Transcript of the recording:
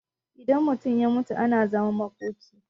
idan mutum ya mutu ana zaman makoki